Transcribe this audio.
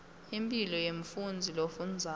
impilo yemfundzi lofundzako